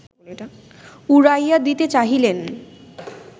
উড়াইয়া দিতে চাহিলেন